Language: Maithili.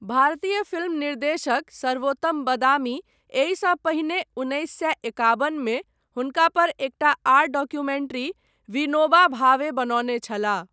भारतीय फिल्म निर्देशक सर्वोत्तम बदामी एहिसँ पहिने उन्नैस सए एकाबन मे हुनका पर एकटा आर डॉक्यूमेंट्री विनोबा भावे बनौने छलाह।